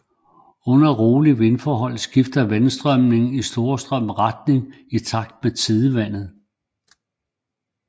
Under rolige vindforhold skifter vandstrømningen i Storstrømmen retning i takt med tidevandet